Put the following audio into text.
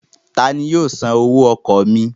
Tani yóò san owó ọkọ̀ mi?